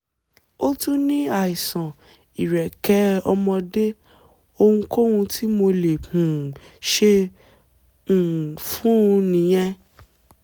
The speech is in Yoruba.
ó tún ní àìsàn ìrẹ́kẹ́ ọmọdé, ohunkóhun tí mo lè um ṣe um fún un nìyẹn?